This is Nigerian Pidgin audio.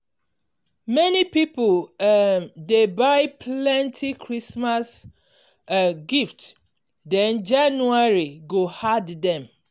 many people um dey buy plenty christmas um gift then january go hard them.